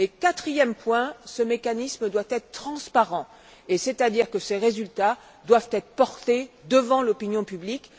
Et quatrième point ce mécanisme doit être transparent, c'est à dire que ses résultats doivent être portés devant l'opinion publique.